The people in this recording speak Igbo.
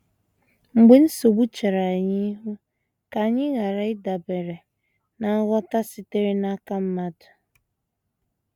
Mgbe nsogbu chere anyị ihu, ka anyị ghara ịdabere ná ngwọta sitere n’aka mmadụ.